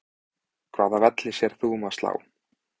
Hvaða velli sérð þú um að slá?